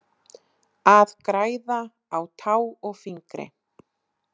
Að græða á tá og fingri